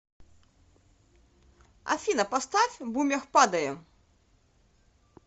афина поставь бумер падаем